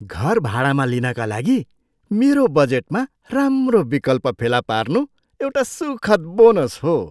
घर भाडामा लिनका लागि मेरो बजेटमा राम्रो विकल्प फेला पार्नु एउटा सुखद बोनस हो।